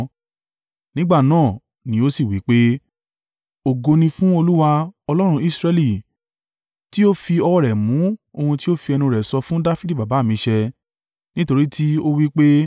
Nígbà náà ni ó sì wí pé: “Ògo ni fún Olúwa, Ọlọ́run Israẹli, tí ó fi ọwọ́ rẹ̀ mú ohun tí ó fi ẹnu rẹ̀ sọ fún Dafidi baba mi ṣẹ. Nítorí tí ó wí pé,